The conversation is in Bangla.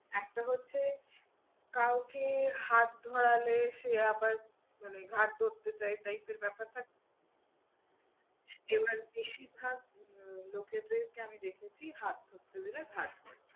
একটা হচ্ছে কাউকে হাত ধরালে সে আবার মানে ঘাড় ধরতে চায় type এর ব্যাপার থাকে না? কেউ আর বেশিরভাগ লোকেদেরকে আমি দেখেছি হাত ধরতে দিলে ঘাড় ধরে।